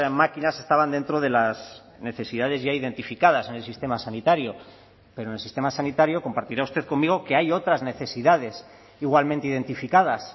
máquinas estaban dentro de las necesidades ya identificadas en el sistema sanitario pero en el sistema sanitario compartirá usted conmigo que hay otras necesidades igualmente identificadas